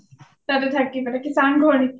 তাতে থাকি পেলাই, কি চাং ঘৰ নেকি?